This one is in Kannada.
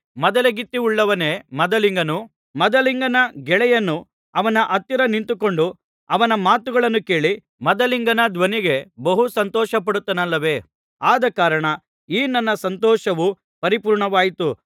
ಮದಲಗಿತ್ತಿಯುಳ್ಳವನೇ ಮದಲಿಂಗನು ಆದರೂ ಮದಲಿಂಗನ ಗೆಳೆಯನು ಅವನ ಹತ್ತಿರ ನಿಂತುಕೊಂಡು ಅವನ ಮಾತುಗಳನ್ನು ಕೇಳಿ ಮದಲಿಂಗನ ಧ್ವನಿಗೆ ಬಹು ಸಂತೋಷಪಡುತ್ತಾನಲ್ಲವೇ ಆದಕಾರಣ ಈ ನನ್ನ ಸಂತೋಷವು ಪರಿಪೂರ್ಣವಾಯಿತು